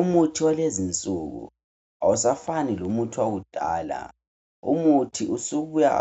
Umuthi walezinsuku awusafani lomuthi wakudala. Umuthi usubuya